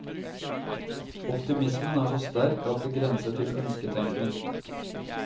Optimismen er så sterk at det grenser til ønsketenkning.